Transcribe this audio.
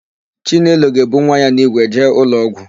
Chinelo ga-ebu nwa ya n'ígwe jee ụlọọgwụ.